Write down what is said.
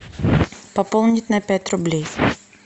пополнить на пять рублей